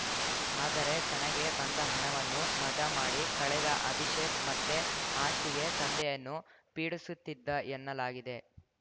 ಆದರೆ ತನಗೆ ಬಂದ ಹಣವನ್ನು ಮಜಾ ಮಾಡಿ ಕಳೆದ ಅಭಿಷೇಕ್‌ ಮತ್ತೆ ಆಸ್ತಿಗೆ ತಂದೆಯನ್ನು ಪೀಡಿಸುತ್ತಿದ್ದ ಎನ್ನಲಾಗಿದೆ